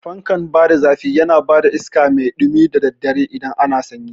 Fankan bada zafi yana bada iskan mai ɗumi da daddare idan ana sanyi